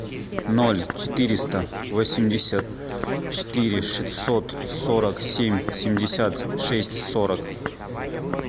ноль четыреста восемьдесят четыре шестьсот сорок семь семьдесят шесть сорок